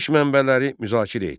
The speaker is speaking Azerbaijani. Verilmiş mənbələri müzakirə et.